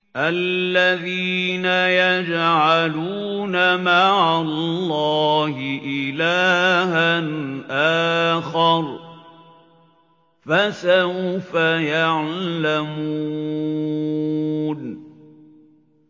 الَّذِينَ يَجْعَلُونَ مَعَ اللَّهِ إِلَٰهًا آخَرَ ۚ فَسَوْفَ يَعْلَمُونَ